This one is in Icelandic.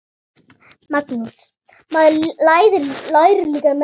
Magnús: Maður lærir líka meira.